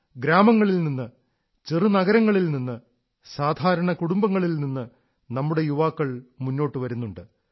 ഗ്രാമങ്ങളിൽ നിന്ന് ചെറു നഗരങ്ങളിൽ നിന്ന് സാധാരണ കുടുംബങ്ങളിൽ നിന്ന് നമ്മുടെ യുവാക്കൾ മുന്നോട്ടു വരുന്നുണ്ട്